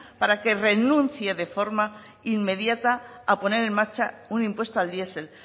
para que renuncie de forma inmediata a poner en marcha un impuesto al diesel